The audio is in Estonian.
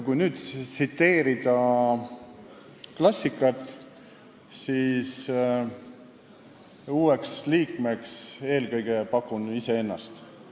Kui nüüd parafraseerida klassikat, siis ütlen, et uueks liikmeks pakun eelkõige iseennast.